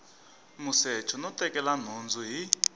musecho no tekela nhundzu hi